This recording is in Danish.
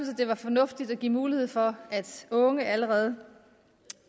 det var fornuftigt at give mulighed for at unge allerede